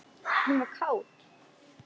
Hún var kát.